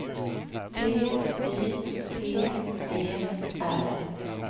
T Y P E R